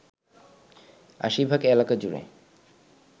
৮০ ভাগ এলাকাজুড়ে